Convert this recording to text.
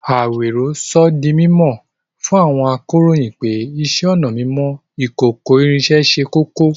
Àwèró sọ̀ dí mímọ́ fún àwọn àkòróyìn pé ìṣẹ̀-ọnà mímọ ìkòkò-ìrín sẹ́ kókó